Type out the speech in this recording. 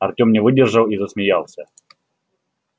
артём не выдержал и засмеялся